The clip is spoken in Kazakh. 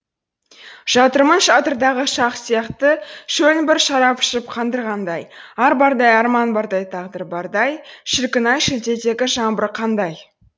жатырмын шатырдағы шах сияқты шөлін бір шарап ішіп қандырғандай ар бардай арман бардай тағдыр бардай шіркін ай шілдедегі жаңбыр қандай